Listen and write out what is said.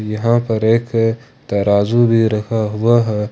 यहां पर एक तराजू भी रखा हुआ है।